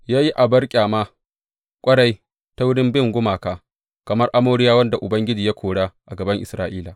Ya yi abar ƙyama ƙwarai ta wurin bin gumaka, kamar Amoriyawan da Ubangiji ya kora a gaban Isra’ila.